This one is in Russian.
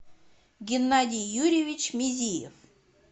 геннадий юрьевич мезиев